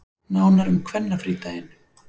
Nánar um kvennafrídaginn